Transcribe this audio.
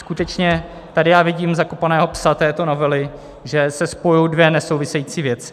Skutečně tady já vidím zakopaného psa této novely, že se spojujou dvě nesouvisející věci.